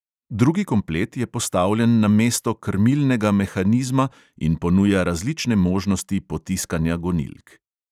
Drugi komplet je postavljen na mesto krmilnega mehanizma in ponuja različne možnosti potiskanja gonilk.